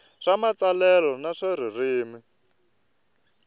swa matsalelo na swa ririmi